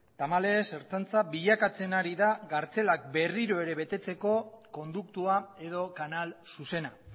tamalez ertzaintza bilakatzen ari da kartzelak berriro ere betetzeko konduktua edo kanal zuzena